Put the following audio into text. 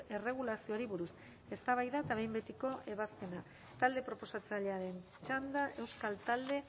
erregulazioari buruz eztabaida eta behin betiko ebazpena talde proposatzailearen txanda euskal talde